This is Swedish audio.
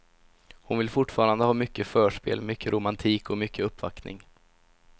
Hon vill fortfarande ha mycket förspel, mycket romantik och mycket uppvaktning.